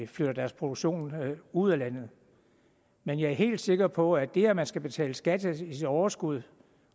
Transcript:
flytter deres produktion ud af landet men jeg er helt sikker på at det at man skal betale skat af sit overskud